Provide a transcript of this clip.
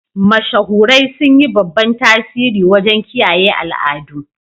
Mashahurai sun yi babban tasiri wajen kiyaye al'adu.